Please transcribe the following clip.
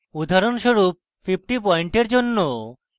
উদাহরণস্বরূপ: 50 পয়েন্টের জন্য